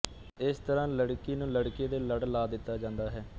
ਇਸ ਤਰ੍ਹਾਂ ਲੜਕੀ ਨੂੰ ਲੜਕੇ ਦੇ ਲੜ ਲਾ ਦਿੱਤਾ ਜਾਂਦਾ ਹੈ